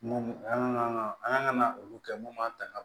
Mun an kan ka an ka ŋana olu kɛ mun b'an ta ka